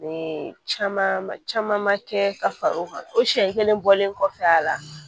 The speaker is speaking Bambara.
caman caman ma kɛ ka far'o kan o siɲɛ kelen bɔlen kɔfɛ a la